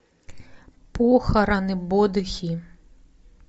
похороны бодхи